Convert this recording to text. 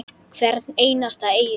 Hvern einasta eyri.